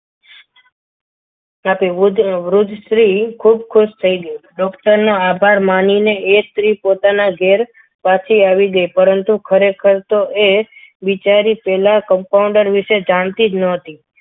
સાથે વૃદ્ધ સ્ત્રી ખુબ ખુશ થઈ ગઈ doctor નો આભાર માનીને એ સ્ત્રી પોતાના ઘેર પાછી આવી ગઈ પરંતુ ખરેખર તો એ બિચારી પહેલા એ compounder વિશે જાણથી ન હતી.